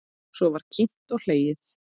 Svo var kímt og hlegið.